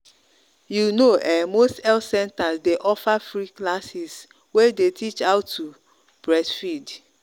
you know um most health centers day offer free classes way day teach about how to breastfeed.